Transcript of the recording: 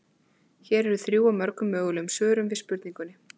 Hér eru þrjú af mörgum mögulegum svörum við spurningunni.